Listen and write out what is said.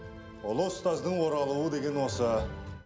ұлы ұстаздың оралуы деген осы